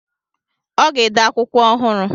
Ọ ga-ede akwụkwọ ọhụrụ.